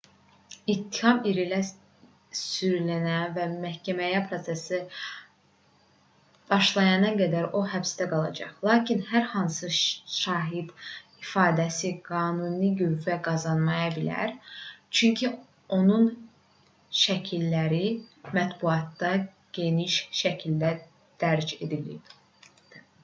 i̇ttiham irəli sürülənə və məhkəmə prosesi başlayana qədər o həbsdə qalacaq. lakin hər hansı şahid ifadəsi qanuni qüvvə qazanmaya bilər çünki onun şəkilləri mətbuatda geniş şəkildə dərc edilib